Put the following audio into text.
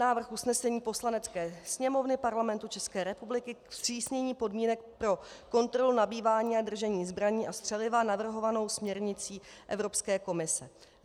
Návrh usnesení Poslanecké sněmovny Parlamentu České republiky ke zpřísnění podmínek pro kontrolu, nabývání a držení zbraní a střeliva navrhovanou směrnicí Evropské komise: